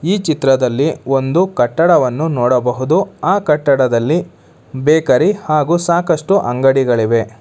ಈ ಚಿತ್ರದಲ್ಲಿ ಒಂದು ಕಟ್ಟಡವನ್ನು ನೋಡಬಹುದು ಆ ಕಟ್ಟಡದಲ್ಲಿ ಬೇಕರಿ ಹಾಗು ಸಾಕಷ್ಟು ಅಂಗಡಿಗಳಿವೆ.